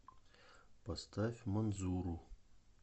поставь манзуру